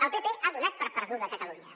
el pp ha donat per perduda catalunya